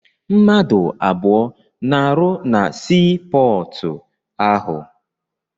Mmadụ abụọ na-arụ na sii pọọtụ ahụ.